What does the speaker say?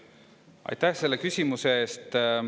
Aitäh selle küsimuse eest!